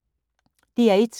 DR1